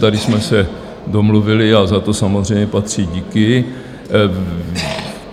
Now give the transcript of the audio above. Tady jsme se domluvili, a za to samozřejmě patří díky.